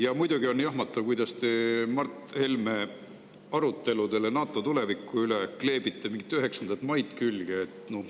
Ja muidugi on jahmatav, kuidas te Mart Helme aruteludele NATO tuleviku üle kleebite mingit 9. maid külge.